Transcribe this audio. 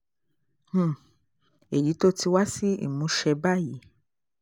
um èyí tó ti wá sí ìmúṣẹ báyìí